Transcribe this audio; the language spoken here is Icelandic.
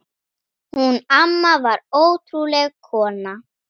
Hún amma var ótrúleg kona.